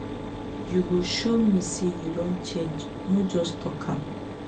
you go show me say you don change no just talk am.